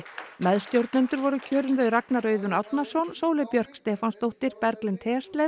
meðstjórnendur voru kjörin þau Ragnar Auðun Árnason Sóley Björk Stefánsdóttir Berglind